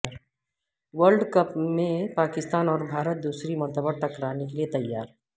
world cup میں پاکستان اور بھارت دوسری مرتبہ ٹکرانے کیلئے تیار